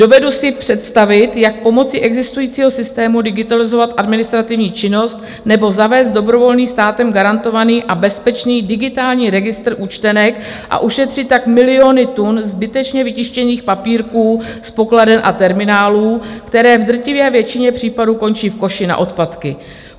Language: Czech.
Dovedu si představit, jak pomocí existujícího systému digitalizovat administrativní činnost nebo zavést dobrovolný, státem garantovaný a bezpečný digitální registr účtenek, a ušetřit tak miliony tun zbytečně vytištěných papírků z pokladen a terminálů, které v drtivé většině případů končí v koši na odpadky.